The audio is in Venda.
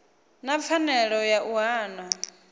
na pfanelo ya u hana